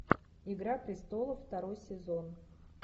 игра престолов второй сезон